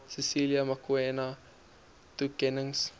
cecilia makiwane toekennings